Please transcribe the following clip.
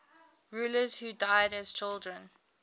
rulers who died as children